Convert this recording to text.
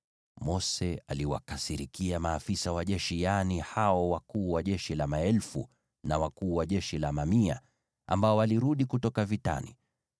Mose aliwakasirikia maafisa wa jeshi, yaani hao wakuu wa jeshi wa maelfu na wakuu wa jeshi wa mamia, ambao walirudi kutoka vitani.